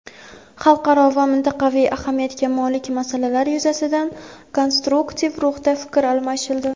Xalqaro va mintaqaviy ahamiyatga molik masalalar yuzasidan konstruktiv ruhda fikr almashildi.